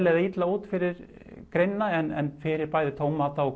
eða illa út fyrir greinina en fyrir bæði tómata og